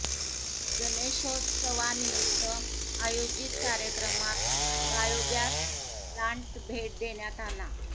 गणेशोत्सवानिमित्त आयोजित कार्यक्रमात biogas plant भेट देण्यात आला